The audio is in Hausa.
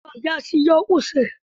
Yaron ya siyo usur.